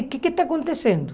O que é que está acontecendo?